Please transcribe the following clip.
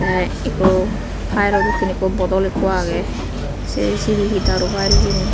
tey ikko fayero dokken ikko bodol ikko agey se sibey hi daru fayel hijeni.